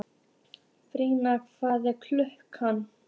Bría, hvað er klukkan?